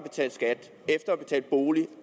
at bolig